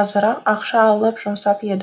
азырақ ақша алып жұмсап едім